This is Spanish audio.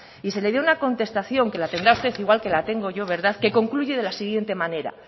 y se le dio una contestación que la tendrá usted igual que la tengo yo que concluye de la siguiente manera